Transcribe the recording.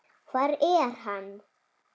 Hvar er hann?